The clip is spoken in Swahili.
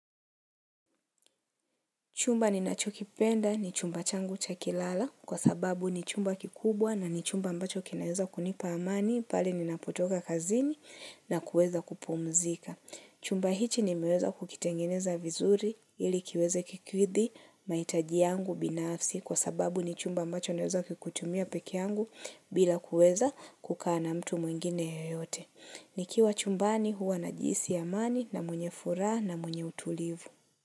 Chumba ninachokipenda ni chumba changu cha kuala kwa sababu ni chumba kikubwa na ni chumba ambacho kinaweza kunipa amani pale ninapotoka kazini na kuweza kupumzika. Chumba hichi nimeweza kukitengeneza vizuri ili kiweze kukidhi mahitaji yangu binafsi kwa sababu ni chumba ambacho naweza kukitumia pekee yangu bila kuweza kukaa na mtu mwingine yeyote. Nikiwa chumbani huwa najihisi amani na mwenye furaha na mwenye utulivu.